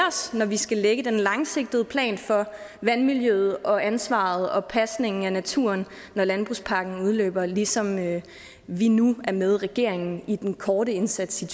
os når vi skal lægge den langsigtede plan for vandmiljøet og ansvaret og pasningen af naturen når landbrugspakken udløber ligesom vi nu er med regeringen i den korte indsats i